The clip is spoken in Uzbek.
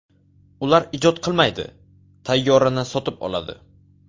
Ular ijod qilmaydi, tayyorini sotib oladi.